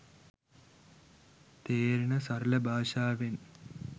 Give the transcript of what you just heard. තේරෙන සරල භාෂාවෙන්.